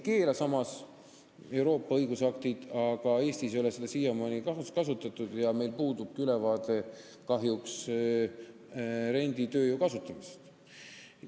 Seda Euroopa õigusaktid ei keela, aga Eestis ei ole seda siiamaani kasutatud ja meil puudubki kahjuks ülevaade renditööjõu kasutamisest.